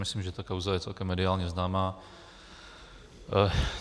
Myslím, že tato kauza je celkem mediálně známá.